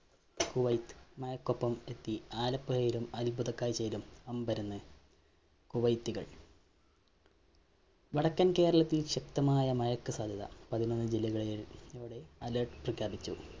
കുവൈത്ത്മഴക്കൊപ്പം എത്തി, ആലപ്പുഴയിലും അത്ഭുത കാഴ്ചയിലും അമ്പരന്ന് കുവൈത്ത്കള്‍. വടക്കന്‍ കേരളത്തില്‍ ശക്തമായ മഴക്ക് സാധ്യത പതിനൊന്നു ജില്ലകളില്‍ ഇതോടെ alert പ്രഖ്യാപിച്ചു.